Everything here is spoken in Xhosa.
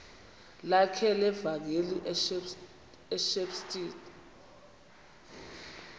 lakhe levangeli ushepstone